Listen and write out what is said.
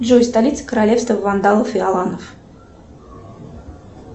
джой столица королевства вандалов и аланов